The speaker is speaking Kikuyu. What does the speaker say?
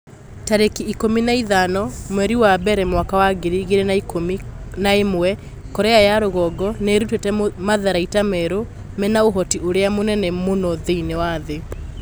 Tarĩki ikũmi na ithano mweri wa mbere mwaka wa ngiri igĩrĩ na ikũmi na ĩmwe Korea ya rũgongo nĩ ĩrutĩte matharaita merũ mena ũhoti ũrĩa mũnene mũno thĩinĩ wa thĩ.'